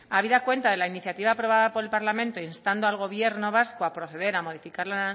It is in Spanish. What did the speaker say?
habida cuenta de la iniciativa aprobada por el parlamento instando al gobierno vasco a proceder a modificar la